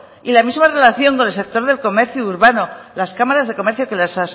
y la misma relación con el sector del comercio urbano las cámaras de comercio que las